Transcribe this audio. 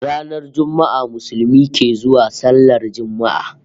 Ranar Juma'a Musulmi ke zuwa sallar Juma'a